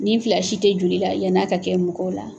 Nin fila si tɛ joli la yann'a ka kɛ mɔgɔw la.